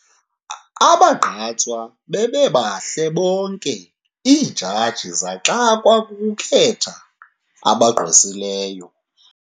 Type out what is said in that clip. Abagqatswa bebebahle bonke iijaji zixakwe kukukhetha abagqwesileyo.